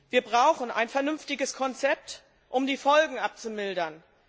Wir brauchen ein vernünftiges Konzept, um die Folgen abzumildern.